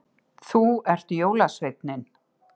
Þú ert jólasveinninn